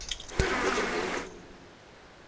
гарри поттер был